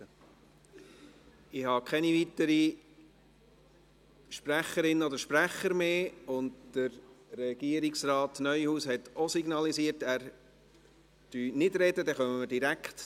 Ich habe keine weiteren Sprechenden mehr auf der Liste, und Regierungsrat Neuhaus hat signalisiert, dass er nicht sprechen möchte.